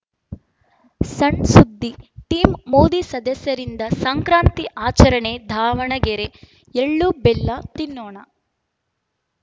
ಸಣ್‌ಸುದ್ದಿ ಟೀಂ ಮೋದಿ ಸದಸ್ಯರಿಂದ ಸಂಕ್ರಾಂತಿ ಆಚರಣೆ ದಾವಣಗೆರೆ ಎಳ್ಳುಬೆಲ್ಲ ತಿನ್ನೋಣ